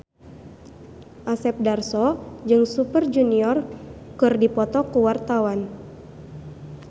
Asep Darso jeung Super Junior keur dipoto ku wartawan